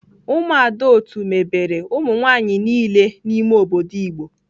Umuada otu mebere umunwanyi nile n'ime obodo Igbo.